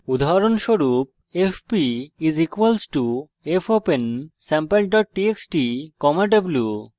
উদাহরণস্বরূপ fp = fopen sample txt w;